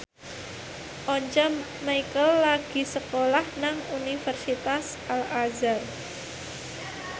Once Mekel lagi sekolah nang Universitas Al Azhar